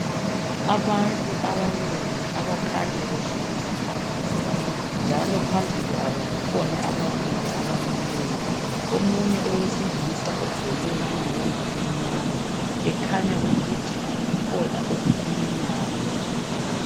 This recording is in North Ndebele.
Abantu abanengi abakhanya behlezi phansi njalo phambi kwabo kukhona abanye abamileyo omunye owesilisa ugqoke iyembe emnyama ekhanya ukuthi kukhona akukhulumayo